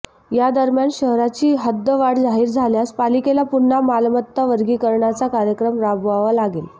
या दरम्यान शहराची हद्दवाढ जाहीर झाल्यास पालिकेला पुन्हा मालमत्ता वर्गीकरणाचा कार्यक्रम राबवावा लागेल